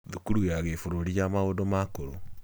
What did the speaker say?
Thukuru ya Kiburũri ya maũndũ ma ũkũrũ